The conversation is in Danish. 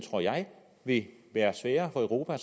vil være sværere for europa